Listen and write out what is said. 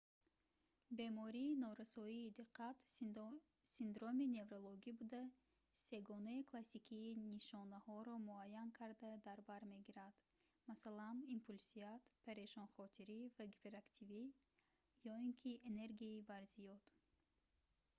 бемории норасоии диққат синдроми неврологи буда сегонаи классикии нишонаҳоро муаян карда дар бар мегирад масалан импулсият парешонхотирӣ ва гиперактивӣ ё ин ки энергияи барзиёд